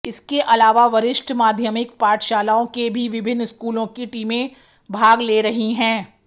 इसके अलावा वरिष्ठ माध्यमिक पाठशालाओं के भी विभिन्न स्कूलों की टीमें भाग ले रही हैं